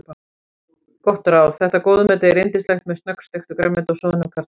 Gott ráð: Þetta góðmeti er yndislegt með snöggsteiktu grænmeti og soðnum kartöflum.